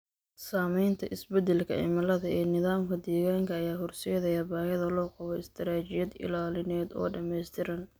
Saamaynta isbeddelka cimilada ee nidaamka deegaanka ayaa horseedaya baahida loo qabo istaraatiijiyad ilaalineed oo dhammaystiran.